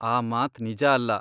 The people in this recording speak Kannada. ಆ ಮಾತ್ ನಿಜ ಅಲ್ಲ.